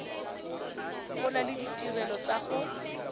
gola le ditirelo tsa go